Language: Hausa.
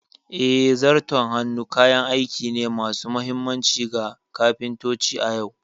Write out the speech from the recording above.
Eh, Zarton hannu kayan aiki ne masu mahimmanci ga kafintoci a yau.